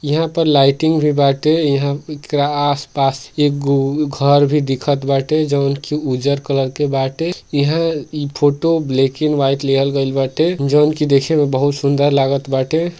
इहा पे लाइटिंग भी बाटे इहा आस-पास एगो घर भी दिखत बाटे। जॉन की उजर कलर के बाटे इहा इ फोटो ब्लैक एंड व्हाइट लिहल गइल बाटे। जउन की देखे में बहुत सुन्दर लागत बाटे।